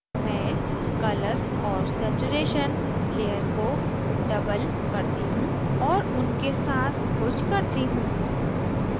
मैं colour और saturation layers को double करती हूँ और उनके साथ कुछ करती हूँ